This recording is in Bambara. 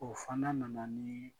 Ɔ fana nana ni